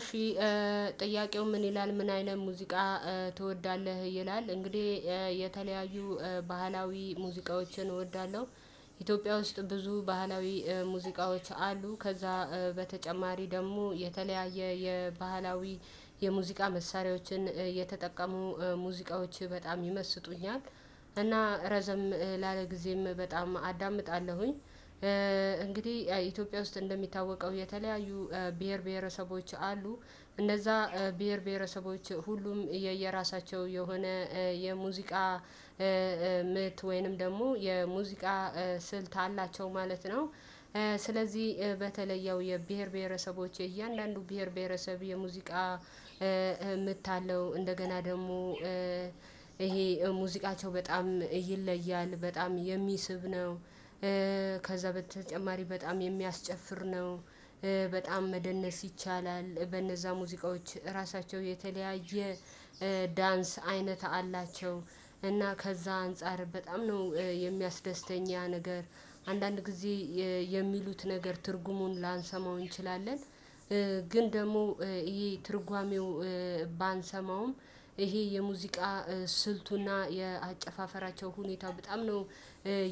እሺ ጥያቄው ምን ይላል ምን አይነት ሙዚቃ ትወዳለህ ይላል? እንግዲህ የተለያዩ ባህላዊ ሙዚቃዎችን እወዳለሁ ኢትዮጵያ ውስጥ ብዙ ባህላዊ ሙዚቃዎች አሉ። ከዛ በተጨማሪ ደግሞ የተለያየ የባህላዊ የሙዚቃ መሳሪያዎችን የተጠቀሙ ሙዚቃዎች በጣም ይመስጡኛል። እና ረዘም ላለ ጊዜም በጣም አዳምጣለሁኝ። እንግዲህ ኢትዮጵያ ውስጥ እንደሚታወቀው የተለያዩ ብሄር ብሄረሰቦች አሉ። እነዛ ብሄር ብሄረሰቦች ሁሉም የየራሳቸው የሆነ የሙዚቃ ምት ወይንም ደግሞ የሙዚቃ ስልት አላቸው ማለት ነው። ስለዚህ በተለየው የብሄር ብሄረሰቦች የእያንዳንዱ ብሄር ብሄረሰብ የሙዚቃ ምት አለው። እንደገና ደግሞ ይሄ ሙዚቃቸው በጣም ይለያል በጣም የሚስብ ነው። ከዛ በተጨማሪ በጣም የሚያስጨፍር ነው። በጣም መደነስ ይቻላል በነዛ ሙዚቃዎች ራሳቸው የተለያየ ዳንስ አይነት አላቸው። እና ከዛ አንፃር በጣም ነው የሚያስደስተኝ ያ ነገር አንዳንድ ጊዜ የሚሉት ነገር ትርጉሙን ላንሰማው እንችላለን። ግን ደግሞ ይሄ ትርጓሜው ባንሰማውም ይሄ የሙዚቃ ስልቱና የአጨፋፈራቸው ሁኔታ በጣም ነው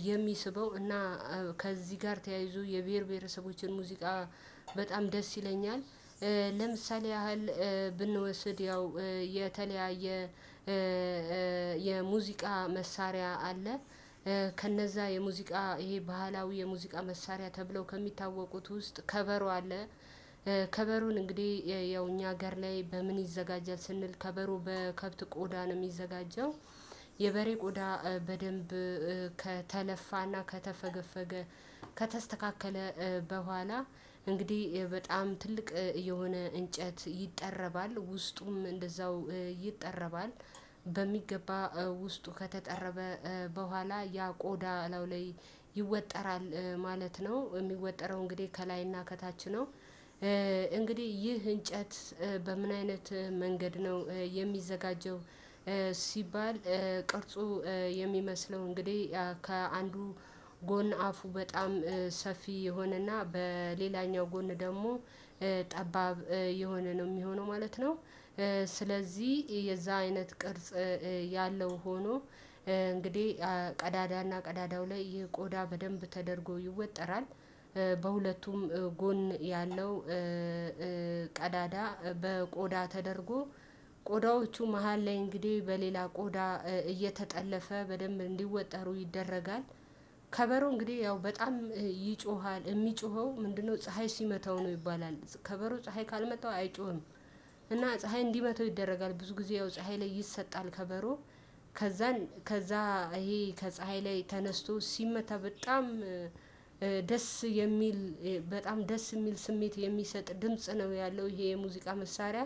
የሚስበው። እና ከዚህ ጋር ተያይዞ የብሄር ብሄረሰቦችን ሙዚቃ በጣም ደስ ይለኛል። ለምሳሌ ያህል ብንወስድ ያው የተለያየ የሙዚቃ መሳሪያ አለ። ከነዛ የሙዚቃ ይሄ ባህላዊ የሙዚቃ መሳሪያ ተብለው ከሚታወቁት ውስጥ ከበሮ አለ። ከበሮን እንግዲህ ያው እኛ ሀገር ላይ በምን ይዘጋጃል ስንል ከበሮ በከብት ቆዳ ነው የሚዘጋጀው። የበሬ ቆዳ በደንብ ከተለፋና ከተፈገፈገ ከተስተካከለ በኋላ እንግዲህ በጣም ትልቅ የሆነ እንጨት ይጠረባል ውስጡም እንደዛው ይጠረባል። በሚገባ ውስጡ ከተጠረበ በኋላ ያ ቆዳ ላይ ይወጠራል ማለት ነው የሚወጠረው እንግዲህ ከላይና ከታች ነው። እንግዲህ ይህ እንጨት በምን አይነት መንገድ ነው የሚዘጋጀው? ሲባል ቅርጹ የሚመስለው እንግዲህ ከአንዱ ጎን አፉ በጣም ሰፊ የሆነና በሌላኛው ጎን ደግሞ ጠባብ የሆነ ነው የሚሆነው ማለት ነው። ስለዚህ የዛ አይነት ቅርጽ ያለው ሆኖ እንግዲህ ቀዳዳና ቀዳዳው ላይ ይህ ቆዳ በደንብ ተደርጎ ይወጠራል። በሁለቱም ጎን ያለው ቀዳዳ በቆዳ ተደርጎ ቆዳዎቹ መሃል ላይ እንግዲህ በሌላ ቆዳ እየተጠለፈ በደንብ እንዲወጠሩ ይደረጋል። ከበሮ እንግዲህ ያው በጣም ይጮሃል የሚጮኸው ምንድነው? ፀሀይ ሲመታው ነው ይባላል ከበሮ ፀሀይ ካልመታው አይጮህም። እና ፀሀይ እንዲመታው ይደረጋል ብዙ ጊዜ ያው ፀሀይ ላይ ይሰጣል። ከበሮ ከዛ ይሄ ከፀሀይ ላይ ተነስቶ ሲመታ በጣም ደስ የሚል በጣም ደስ የሚል ስሜት የሚሰጥ ድምጽ ነው ያለው ይሄ የሙዚቃ መሳሪያ።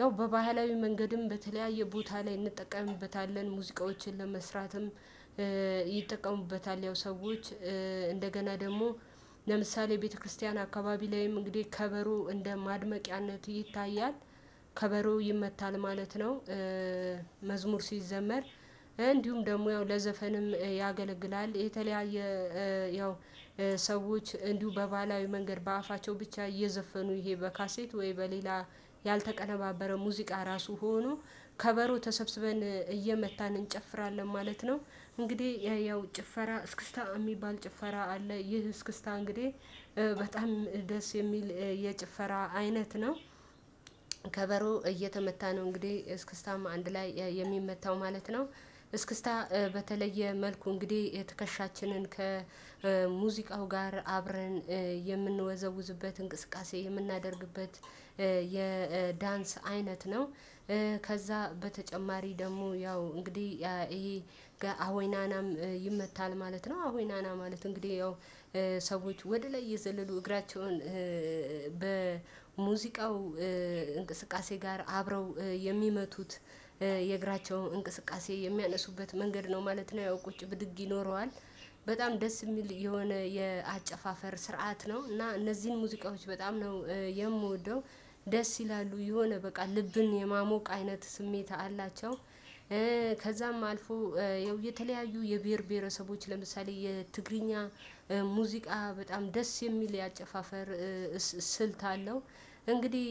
ያው በባህላዊ መንገድም በተለያየ ቦታ ላይ እንጠቀምበታለን ሙዚቃዎችን ለመስራትም። ይጠቀሙበታል ያው ሰዎች እንደገና ደግሞ ለምሳሌ ቤተክርስቲያን አካባቢ ላይም እንግዲህ ከበሮ እንደ ማድመቂያነት ይታያል። ከበሮ ይመታል ማለት ነው። መዝሙር ሲዘመር እንዲሁም ደግሞ ያው ለዘፈንም ያገለግላል የተለያየ ያው ሰዎች እንዲሁ በባህላዊ መንገድ በአፋቸው ብቻ እየዘፈኑ ይሄ በካሴት ወይ በሌላ ያልተቀነባበረ ሙዚቃ ራሱ ሆኖ ከበሮ ተሰብስበን እየመታን እንጨፍራለን ማለት ነው። እንግዲህ ያው ጭፈራ እስክስታ የሚባል ጭፈራ አለ። ይህ እስክስታ እንግዲህ በጣም ደስ የሚል የጭፈራ አይነት ነው። ከበሮ እየተመታ ነው እንግዲህ እስክስታም አንድ ላይ የሚመታው ማለት ነው እስክስታ በተለየ መልኩ እንግዲህ ትከሻችንን ከሙዚቃው ጋር አብረን የምንወዘውዝበት እንቅስቃሴ የምናደርግበት የዳንስ አይነት ነው። ከዛ በተጨማሪ ደግሞ ያው እንግዲህ ይሄ ጋር አሁይ ናናም ይመታል ማለት ነው። አሁይ ናና ማለት እንግዲህ ያው ሰዎች ወደ ላይ እየዘለሉ እግራቸውን በሙዚቃው እንቅስቃሴ ጋር አብረው የሚመቱት የእግራቸውን እንቅስቃሴ የሚያነሱበት መንገድ ነው ማለት ነው። ያው ቁጭ ብድግ ይኖረዋል በጣም ደስ የሚል የሆነ የአጨፋፈር ስርዓት ነው። እና እነዚህን ሙዚቃዎች በጣም ነው የምወደው። ደስ ይላሉ የሆነ በቃ ልብን የማሞቅ አይነት ስሜት አላቸው። ከዛም አልፎ ያው የተለያዩ የብሄር ብሄረሰቦች ለምሳሌ የትግርኛ ሙዚቃ በጣም ደስ የሚል የአጨፋፈር ስልት አለው። እንግዲህ